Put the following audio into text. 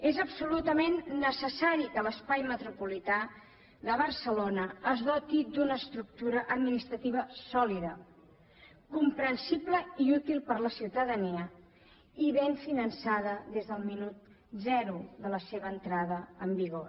és absolutament necessari que l’espai metropolità de barcelona es doti d’una estructura administrativa sòlida comprensiva i útil per a la ciutadania i ben finançada des del minut zero de la seva entrada en vigor